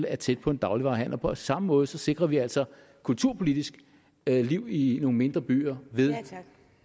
er tæt på en dagligvarehandel på samme måde sikrer vi altså kulturpolitisk liv i nogle mindre byer ved